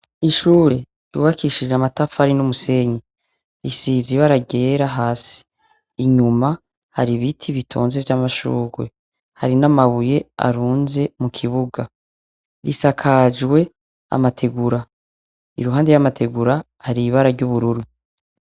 ishure ryubakishije amatafari n'umusenyi risize ibara ryera hasi inyuma hari biti bitonze ry'amashurwe hari n'amabuye arunze mu kibuga risakajwe amategura iruhande y'amategura hari ibara ry'ubururu